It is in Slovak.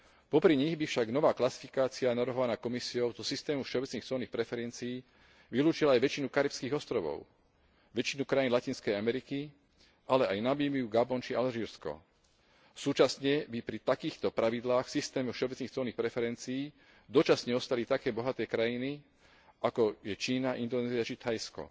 Popri nich by však nová klasifikácia navrhovaná Komisiou do systému všeobecných colných preferencií vylúčila aj väčšinu karibských ostrovov, väčšinu krajín Latinskej Ameriky ale aj Namíbiu, Gabon či Alžírsko. Súčasne by pri takýchto pravidlách v systéme všeobecných colných preferencií dočasne ostali také bohaté krajiny, ako je Čína, Indonézia či Thajsko.